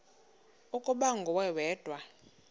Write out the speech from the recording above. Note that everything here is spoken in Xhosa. ukuba nguwe wedwa